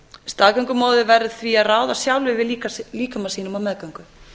staðgöngumóðir verður því að ráða sjálf yfir líkama sínum á meðgöngu